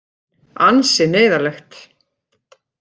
Ansi neyðarlegt.